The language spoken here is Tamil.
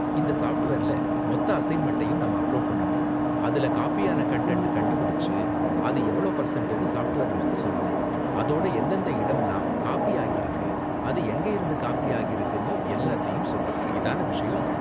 இந்த சாஃப்ட்வேர்ல மொத்த அசைன்மெண்ட்டையும் நாம அப்லோடு பண்ணனும், அதுல காப்பி ஆன கன்டன்ட்ட கண்டுபிடிச்சு, அது எவ்ளோ பர்சண்ட்னு சாஃப்ட்வேர் நமக்கு சொல்லும், அதோட எந்தெந்த இடம்லாம் காப்பி ஆகிருக்கு, அது எங்க இருந்து காப்பி ஆகிருக்குனு எல்லாத்தையும் சொல்லும். இதான விஷயம்?